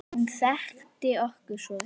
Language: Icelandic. Hún þekkti okkur svo vel.